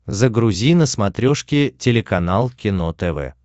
загрузи на смотрешке телеканал кино тв